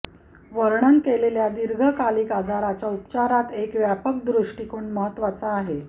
वर्णन केलेल्या दीर्घकालिक आजाराच्या उपचारात एक व्यापक दृष्टिकोन महत्त्वाचा आहे